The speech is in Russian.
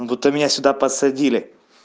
буд-то меня сюда посадили